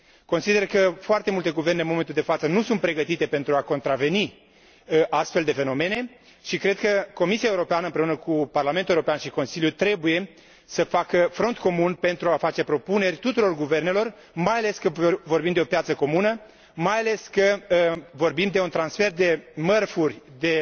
Consider că foarte multe guverne, în momentul de față, nu sunt pregătite pentru a contracara astfel de fenomene și cred că Comisia Europeană, împreună cu Parlamentul European și Consiliu, trebuie să facă front comun pentru a face propuneri tuturor guvernelor, mai ales că vorbim de o piață comună, de un transfer de mărfuri, de